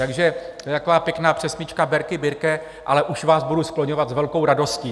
Takže to je taková pěkná přesmyčka Berki, Birke, ale už vás budu skloňovat s velkou radostí.